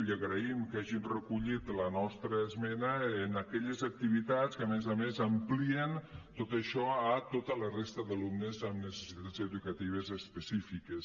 agraïm que hagin recollit la nostra esmena en aquelles activitats que a més a més amplien tot això a tota la resta d’alumnes amb necessitats educatives específiques